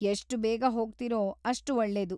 ಎಷ್ಟು ಬೇಗ ಹೋಗ್ತೀರೋ ಅಷ್ಟು ಒಳ್ಳೆದು.